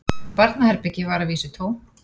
Barnaherbergið var að vísu tómt